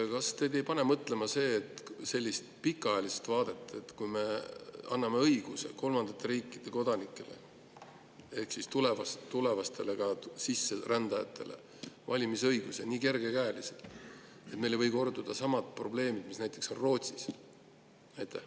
Kas teid ei pane mõtlema selline pikaajaline vaade, et kui me anname kolmandate riikide kodanikele ja ehk ka tulevastele sisserändajatele nii kergekäeliselt valimisõiguse, siis meil võivad tekkida samad probleemid, mis näiteks Rootsis?